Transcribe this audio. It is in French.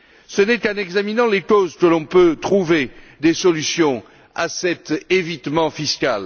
Ce n'est qu'en examinant les causes que l'on peut trouver des solutions à cet évitement fiscal.